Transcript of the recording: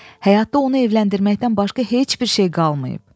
Həyatda onu evləndirməkdən başqa heç bir şey qalmayıb.